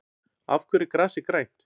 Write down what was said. Af hverju er grasið grænt?